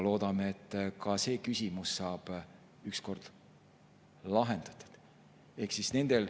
Loodame, et ka see küsimus saab ükskord lahendatud.